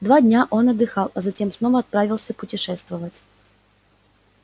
два дня он отдыхал а затем снова отправился путешествовать